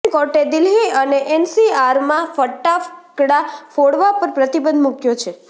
supreme કોર્ટે દિલ્હી અને એનસીઆરમાં ફટાકડા ફોડવા પર પ્રતિબંધ મુક્યો છે